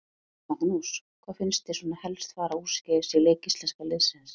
Magnús: Hvað fannst þér svona helst fara úrskeiðis í leik íslenska liðsins?